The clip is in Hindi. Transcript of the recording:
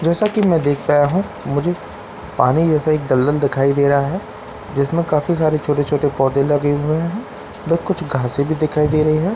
जैसा की मैं देख पा रहा हूँ मुझे पानी जैसा एक दलदल दिखाई दे रहा है जिसमें काफी सारे छोटे छोटे पौधे लगे हुए है उधर कुछ घासे भी दिखाई दे रही है मुझे --